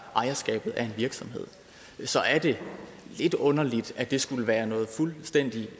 af ejerskabet at virksomheder så er det lidt underligt at det skulle være noget fuldstændig